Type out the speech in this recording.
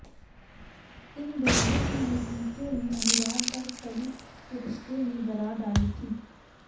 इन दोनों की नजदीकियों ने अनुराग और कल्कि के रिश्ते में दरार डाली थी